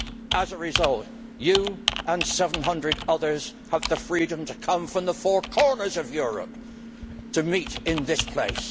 As a result, you and 700 others have the freedom to come from the four corners of Europe to meet in this place.